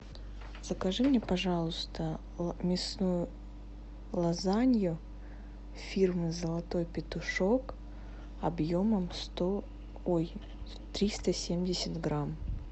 закажи мне пожалуйста мясную лазанью фирмы золотой петушок объемом сто ой триста семьдесят грамм